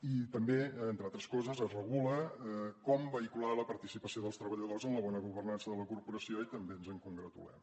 i també entre altres coses es regula com vehicular la participació dels treballadors en la bona governança de la corporació i també ens en congratulem